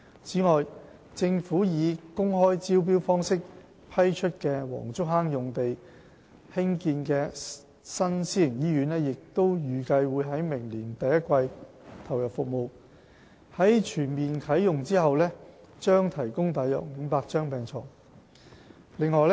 此外，政府以公開招標方式批出的黃竹坑用地上興建的新私營醫院，預計會在明年第一季投入服務，在全面啟用後將提供約500張病床。